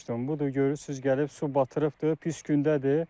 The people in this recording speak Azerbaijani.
Budur, görürsüz gəlib su batırıbdır, pis gündədir.